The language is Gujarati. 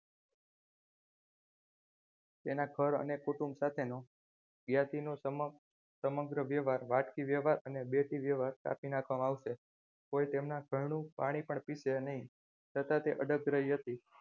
તેના ઘર અને કુટુંબ સાથેનો જ્ઞાતિ નો સંબંધ સમગ્ર વ્યવહાર વાટકી વ્યવહાર અને બેટી વ્યવહાર કાપી નાખવામાં આવશે કોઈ તેમના ઘરનું પાણી પણ પીશે નહીં છતાં તે અડગ રહી હતી.